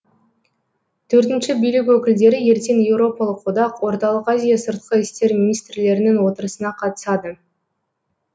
төртінші билік өкілдері ертең еуропалық одақ орталық азия сыртқы істер министрлерінің отырысына қатысады